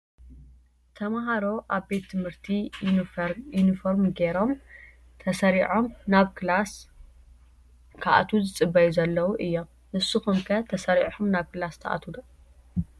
ተማሃሮ ኣብ ቤት ትምህርቲ ዩኒፎርሚ ገይሮም ተሰሪዖም ናብ ክላስ ክኣትው ዝፅበዩ ዘለው እዮም። ንሱኩም ከ ተሰሪዒኩም ናብ ክላስ ትኣትዉ ዶ ?